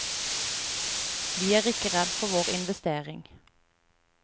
Vi er ikke redd for vår investering.